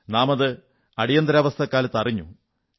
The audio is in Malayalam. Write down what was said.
നാമത് അടിയന്തരാവസ്ഥക്കാലത്ത് അറിഞ്ഞു